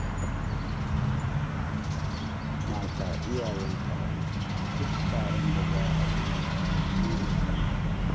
Mata iyayen taro; duk taron da za a yi su ne a kan gaba.